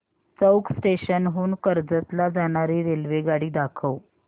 चौक station हून कर्जत ला जाणारी रेल्वेगाडी दाखव